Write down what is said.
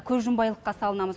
көзжұмбайлыққа салынамыз